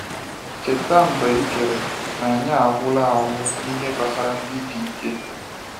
“Cheta mgbe e chere na anyị agwụla agwụ n’ihe gbasara ndị dike?”